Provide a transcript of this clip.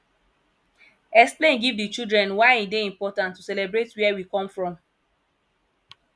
explain give di children why e dey important to celebrate where we come from